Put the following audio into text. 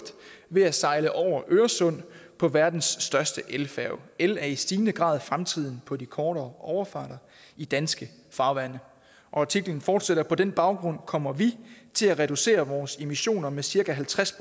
ved at sejle over øresund med verdens største elfærge el er i stigende grad fremtiden på de kortere overfarter i danske farvande artiklen fortsætter på den baggrund kommer vi til at reducere vores emissioner med cirka halvtreds